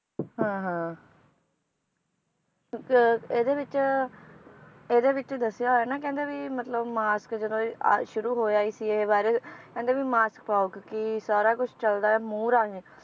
ਹਾਂ ਹਾਂ ਇੱਕ ਇਹਦੇ ਵਿਚ, ਇਹਦੇ ਵਿਚ ਦੱਸਿਆ ਹੋਇਆ ਨਾ ਕਹਿੰਦੇ ਵੀ ਮਤਲਬ mask ਜਦੋਂ ਇਹ ਆ~ ਸ਼ੁਰੂ ਹੋਇਆ ਹੀ ਸੀ ਇਹ virus ਕਹਿੰਦੇ ਵੀ mask ਪਾਓ ਕਿਉਂਕਿ ਸਾਰਾ ਕੁਛ ਚਲਦਾ ਏ ਮੂੰਹ ਰਾਹੀਂ